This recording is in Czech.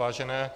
Vážené